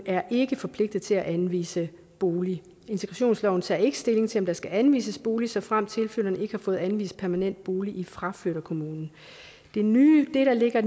er ikke forpligtet til at anvise bolig integrationsloven tager ikke stilling til om der skal anvises bolig såfremt tilflytteren ikke har fået anvist permanent bolig i fraflytterkommunen det nye der ligger